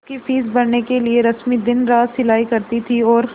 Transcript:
उसकी फीस भरने के लिए रश्मि दिनरात सिलाई करती थी और